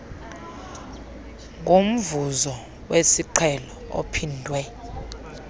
ngomvuzo wesiqhelo ophindwe